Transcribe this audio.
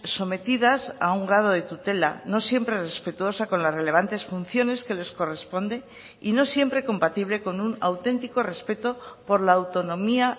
sometidas a un grado de tutela no siempre respetuosa con las relevantes funciones que les corresponde y no siempre compatible con un auténtico respeto por la autonomía